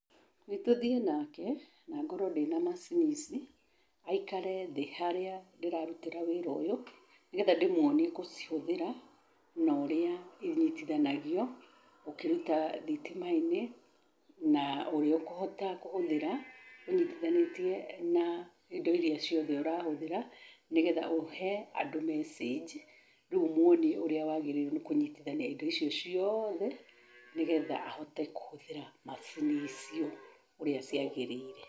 Nĩ tũthiĩ nake na ngorwo ndĩna macini ici aikare thĩ harĩa ndĩrarutĩra wĩra ũyũ nĩgetha ndĩmwonie gũchihũthĩra na ũrĩa inyitithanagio ũkĩruta thitima-inĩ na ũrĩa ũkũhota kũhũthĩra ũnyitithanĩtie na indo iria ciothe ũrahũthĩra, nĩgetha ũhe andũ message rĩu ũmwonie ũrĩa wagĩrĩirwo nĩ kũnyitithania indo icio ciothe nĩgetha ahote kũhũthĩra macini icio ũrĩa ciagĩrĩre.